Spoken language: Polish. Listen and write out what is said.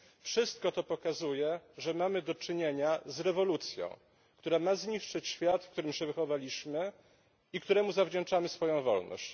Wszystko to pokazuje, że mamy do czynienia z rewolucją, która ma zniszczyć świat, w którym się wychowaliśmy i któremu zawdzięczamy swoją wolność.